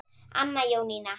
Anna Jónína.